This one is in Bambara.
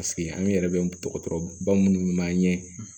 Paseke an yɛrɛ bɛ dɔgɔtɔrɔba minnu bɛ m'an ɲɛ